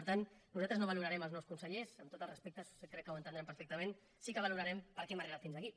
per tant nosaltres no valorarem els nous consellers amb tots els respectes crec que ho entendran perfectament sí que valorarem per què hem arribat fins aquí